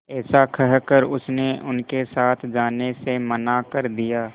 ऐसा कहकर उसने उनके साथ जाने से मना कर दिया